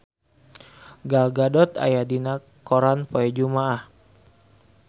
Gal Gadot aya dina koran poe Jumaah